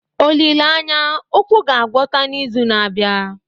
Olileanya, ụkwụ ga-agwọta n'izu na-abịa